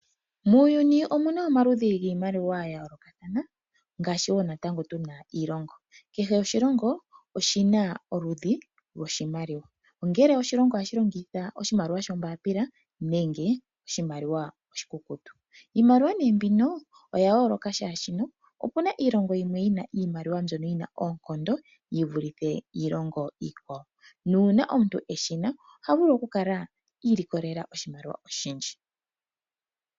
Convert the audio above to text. Muuyuni omuna omaludhi giimaliwa ya yoolokathana, ngaashi wo natango tuna iilongo. Kehe oshilongo oshina oludhi lwoshimaliwa, ongele oshilongo oha shi longitha oshimaliwa shombaapila nenge oshikukutu. Iimaliwa nee mbino, oya yooloka shaashi, opuna iilongo yimwe yina iimaliwa mbyono yi na oonkondo, yivulithe iilongo iikwawo. Uuna omuntu eshina, oha vulu oku kala iilikolela oshimaliwa oshindji.